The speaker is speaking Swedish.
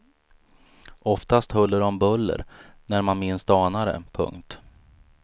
Oftast huller om buller och när man minst anar det. punkt